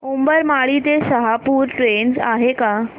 उंबरमाळी ते शहापूर ट्रेन आहे का